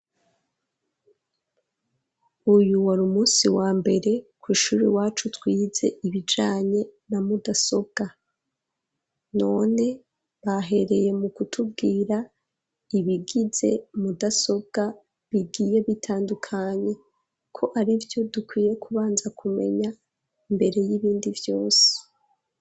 Uyu wari, umunsi wa mbere, kw’ishuri iwacu, twize ibijanye, na mudasobwa; none, bahereye mu kutubwira, ibigize mudasobwa, bigiye bitandukanye, ko ari vyo dukwiye, kubanza kumenya, imbere y'ibindi vyose.